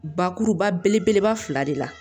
Bakuruba belebeleba fila de la